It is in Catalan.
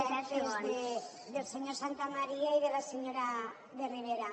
directes del senyor santamaría i de la senyora de rivera